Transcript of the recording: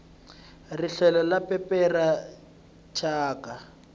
rihlelo ri pepera thyaka